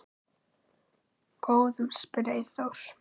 Góðum? spyr Eyþór.